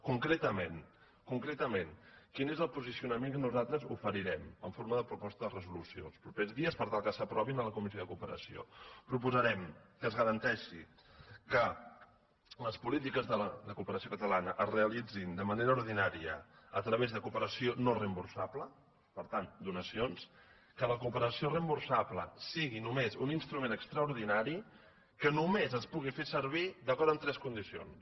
concretament quin és el posicionament que nosaltres oferirem en forma de proposta de resolució els propers dies per tal que s’aprovi en la comissió de cooperació proposarem que es garanteixi que les polítiques de cooperació catalana es realitzin de manera ordinària a través de cooperació no reemborsable per tant donacions que la cooperació reemborsable sigui només un instrument extraordinari que només es pugui fer servir d’acord amb tres condicions